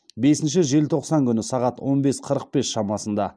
бесінші желтоқсан күні сағат он бес қырық бес шамасында